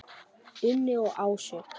Unni og Ásu.